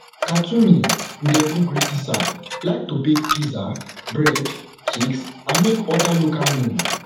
khatoumi ndebugri isa like to bake pizza bread cakes and make oda local meals